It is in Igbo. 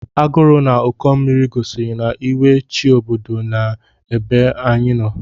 Agụrụ na Ụkọ mmiri gosiri na iwe chi obodo nọ n'ebe anyị nọ.